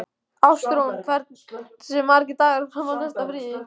Ástrún, hversu margir dagar fram að næsta fríi?